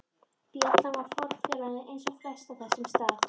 Bjallan var fornfáleg eins og flest á þessum stað.